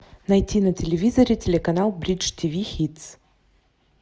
найти на телевизоре телеканал бридж тв хитс